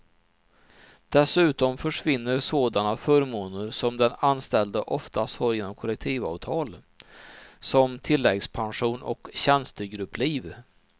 Dessutom försvinner sådana förmåner som den anställde oftast har genom kollektivavtal, som tilläggspension och tjänstegruppliv.